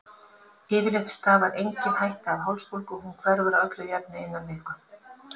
Yfirleitt stafar engin hætta af hálsbólgu og hún hverfur að öllu jöfnu innan viku.